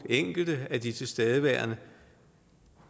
af de tilstedeværende